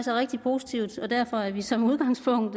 er rigtig positivt og derfor er vi som udgangspunkt